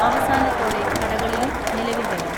അവസാനത്തോടെ കടകളിലും നിലവിൽ വരും.